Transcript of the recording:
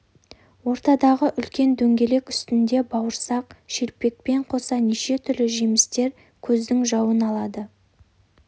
ортадағы үлкен дөңгелек үстінде бауырсақ шелпекпен қоса неше түрлі жемістер көздің жауын алады